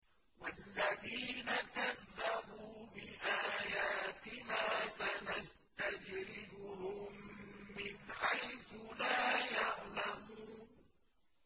وَالَّذِينَ كَذَّبُوا بِآيَاتِنَا سَنَسْتَدْرِجُهُم مِّنْ حَيْثُ لَا يَعْلَمُونَ